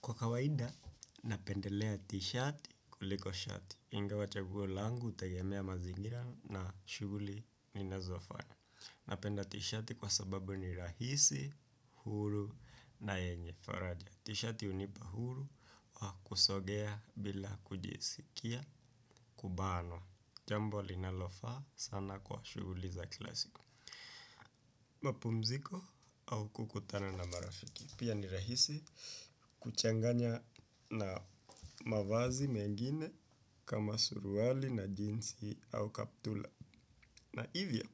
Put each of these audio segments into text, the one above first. Kwa kawaida, napendelea t-shati kuliko shati. Ingewa chaguo langu, hutegemea mazingira na shughuli ninazofanya. Napenda t-shati kwa sababu ni rahisi, huru na yenye faraja. T-shati hunipa huru wa kusogea bila kujiskia kubanwa. Jambo linalofaa sana kwa shughuli za kila siku. Mapumziko au kukutana na marafiki. Pia ni rahisi kuchanganya na mavazi mengine kama suruali na jinsi au kaptula. Na hivyo,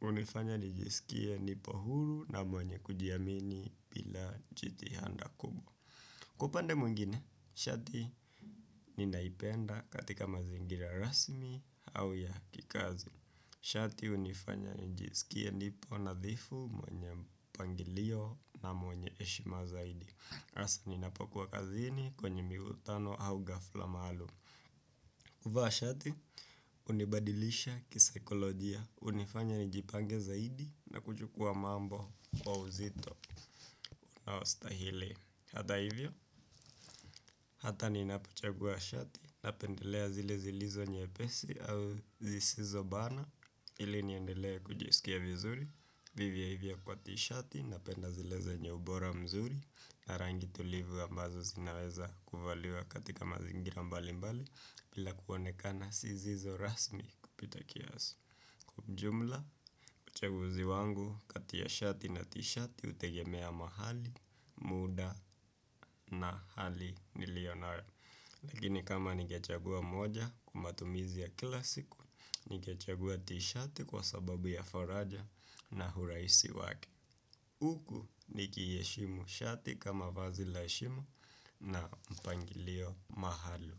hunifanya nijisikie nipo huru na mwenye kujiamini bila jitihada kubwa. Kwa upande mwengine, shati ninaipenda katika mazingira rasmi au ya kikazi. Shati hunifanya nijisikie nipo nadhifu mwenye mpangilio na mwenye heshima zaidi. Hasa ninapokuwa kazini kwenye mikutano au hafla maalum. Kuvaa shati, hunibadilisha kisaikolojia, hunifanya nijipange zaidi na kuchukua mambo kwa uzito unaostahili. Hata hivyo, hata ninapochagua shati, napendelea zile zilizo nyepesi au zisizobana, ili niendelee kujiskia vizuri. Vivyo hivyo kwa t-shati napenda zile zenye ubora mzuri na rangi tulivu ambazo zinaweza kuvaliwa katika mazingira mbalimbali bila kuonekana zisizo rasmi kupita kiasi. Kwa ujumla, uchaguzi wangu kati ya shati na t-shati hutegemea mahali, muda na hali nilionayo. Lakini kama ningechagua moja kwa matumizi ya kila siku ningechagua t-shati kwa sababu ya faraja na urahisi wake uku nikiheshimu shati kama vazi la heshima na mpangilio maalum.